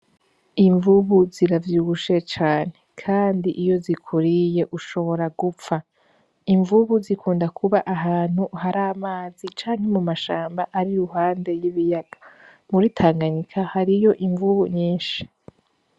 Imvubu ziravyibushe cane kandi iyo zikuriye ushobora gupfa, imvubu zikunda kuba ahantu hari amazi canke mumashamba ariruhande y'ibiyaga. Muri tanganyika hariyo imvubu nyishi.